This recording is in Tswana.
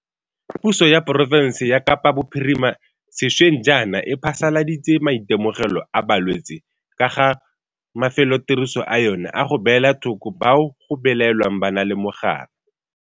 Puso ya porofense ya Kapa Bophirima sešweng jaana e phasaladitse maitemogelo a balwetse ka ga mafelotiriso a yona a go beela thoko bao go belaelwang ba na le mogare.